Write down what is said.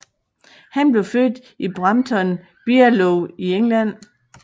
Han blev født i Brampton Bierlow i England